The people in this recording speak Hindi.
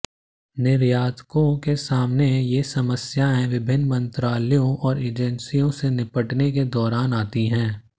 निर्यातकों के सामने ये समस्याएं विभिन्न मंत्रालयों और एजेंसियों से निपटने के दौरान आती हैं